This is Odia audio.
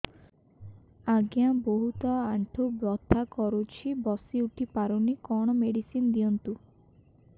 ଆଜ୍ଞା ବହୁତ ଆଣ୍ଠୁ ବଥା କରୁଛି ବସି ଉଠି ପାରୁନି କଣ ମେଡ଼ିସିନ ଦିଅନ୍ତୁ